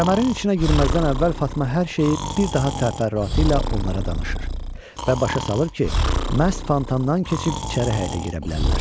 Kəmərin içinə girməzdən əvvəl Fatma hər şeyi bir daha təfərrüatı ilə onlara danışır və başa salır ki, məhz fantandan keçib içəri həyətə girə bilərlər.